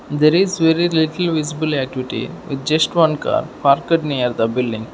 There is very little visible activity with just one parked near the building.